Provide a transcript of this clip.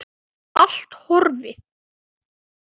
Allt horfið.